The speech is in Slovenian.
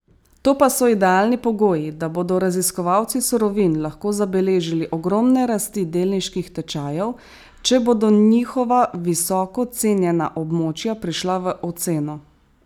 To pa so idealni pogoji, da bodo raziskovalci surovin lahko zabeležili ogromne rasti delniških tečajev, če bodo njihova visoko cenjena območja prišla v oceno.